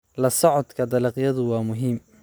La socodka dalagyadu waa muhiim.